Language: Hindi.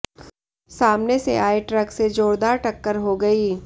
सामने से आये ट्रक से जोरदार टक्कर हो गई